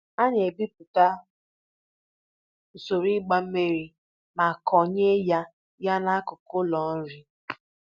A na-ebipụta usoro ịgba mmiri ma konyeya ya n'akụkụ ụlọ nri.